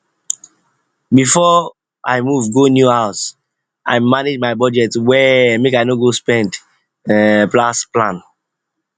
before i move go new house i manage my budget well make i no go spend um pass plan